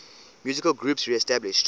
musical groups reestablished